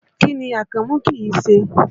Kí ni Akànmú kìí ṣe?